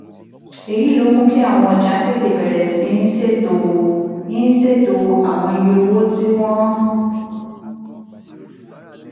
èyí ló mú kí àwọn ọjà tètè bẹ̀rẹ̀ sí í ṣètò í ṣètò àwọn iye owó tí wọ́n